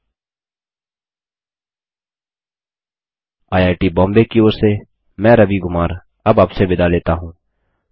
httpspoken tutorialorgNMEICT Intro IIT Bombay की ओर से मैं रवि कुमार अब आपसे विदा लेता हूँ